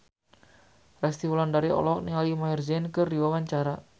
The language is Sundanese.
Resty Wulandari olohok ningali Maher Zein keur diwawancara